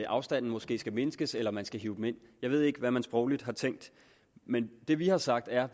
afstanden måske skal mindskes eller man skal hive dem ind jeg ved ikke hvad man sprogligt har tænkt men det vi har sagt er